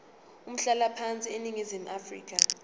umhlalaphansi eningizimu afrika